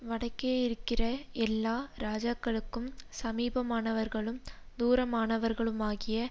வடக்கேயிருக்கிற எல்லா ராஜாக்களுக்கும் சமீபமானவர்களும் தூரமானவர்களுமாகிய